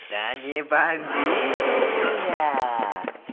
да не бомбит у меня